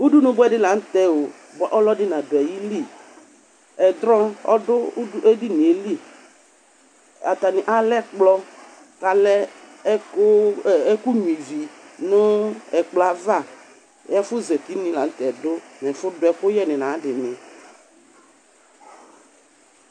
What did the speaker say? udunu bɛdi lanutɛo baɛ ɔludi naduayili ɛblu ɔdu ɛdiniɛli atani alɛkplɔ kalɛ ɛkuwɛ ive nu ɛkplɔva ɛfɛzatini lanutɛdu nu efudu ɛkuyɛ nayadini